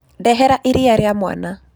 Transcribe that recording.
Ndehera iria rĩa mwana.